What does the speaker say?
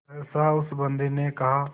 सहसा उस बंदी ने कहा